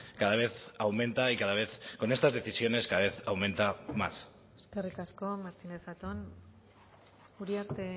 cada vez aumenta y cada vez con estas decisiones cada vez aumenta más eskerrik asko martínez zatón uriarte